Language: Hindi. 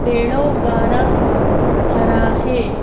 पेड़ों का रंग हरा है।